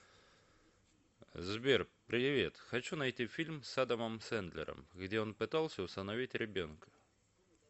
сбер привет хочу найти фильм с адамом сэндлером где он пытался усыновить ребенка